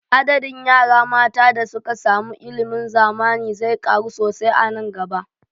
Adadin yara matan da suka samu ilimin zamani zai ƙaru sosai a nan gaba